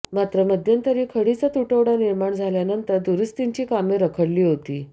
मात्र मध्यंतरी खडीचा तुटवडा निर्माण झाल्यानंतर दुरुस्तींची कामे रखडली होती